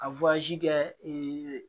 Ka kɛ